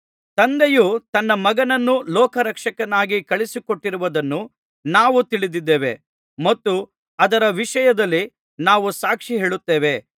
ತಂದೆಯು ತನ್ನ ಮಗನನ್ನು ಲೋಕರಕ್ಷಕನನ್ನಾಗಿ ಕಳುಹಿಸಿಕೊಟ್ಟಿರುವುದನ್ನು ನಾವು ತಿಳಿದಿದ್ದೇವೆ ಮತ್ತು ಅದರ ವಿಷಯದಲ್ಲಿ ನಾವು ಸಾಕ್ಷಿ ಹೇಳುತ್ತೇವೆ